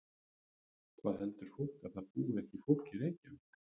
Hvað heldur fólk að það búi ekki fólk í Reykjavík?